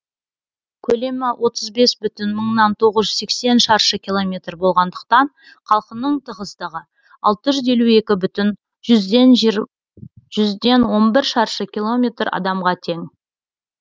көлемі отыз бес бүтін мыңнан тоғыз жүз сексен шаршы километр болғандықтан халқының тығыздығы алты жүз елу екі бүтін жүзден он бір шаршы километр адамға тең